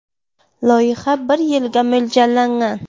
Loyiha bir yilga mo‘ljallangan.